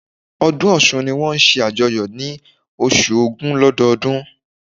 Ọdún Ọ̀sun ni wón n se àjoyọ̀ ni osu ògún lọ́dọọdún